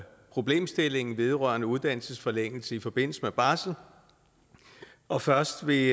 problemstillingen vedrørende uddannelsesforlængelse i forbindelse med barsel og først ved